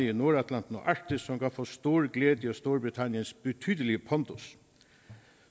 i nordatlanten og arktis som kan få stor glæde af storbritanniens betydelige pondus